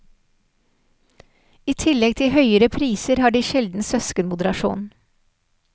I tillegg til høyere priser har de sjelden søskenmoderasjon.